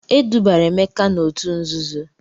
E dubara Emeka n'òtù nzuzo.